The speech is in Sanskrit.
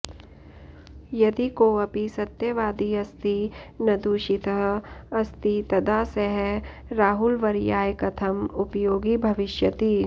यदि कोऽपि सत्यवादी अस्ति नदूषितः अस्ति तदा सः राहुलवर्याय कथम् उपयोगी भविष्यति